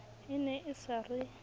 e ne e sa re